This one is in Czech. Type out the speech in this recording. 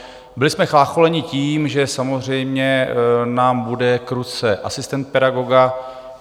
Byli jsme chlácholeni tím, že samozřejmě nám bude k ruce asistent pedagoga.